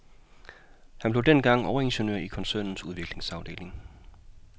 Han blev dengang overingeniør i koncernens udviklingsafdeling.